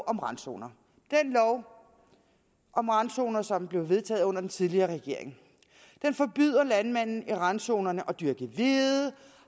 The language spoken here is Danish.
randzoner den lov om randzoner som blev vedtaget under den tidligere regering den forbyder landmænd i randzonerne at dyrke hvede